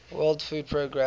world food programme